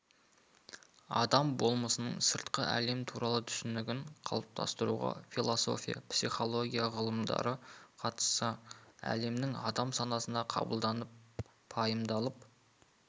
адам болмысының сыртқы әлем туралы түсінігін қалыптастыруға философия психология ғылымдары қатысса әлемнің адам санасына қабылданып пайымдалып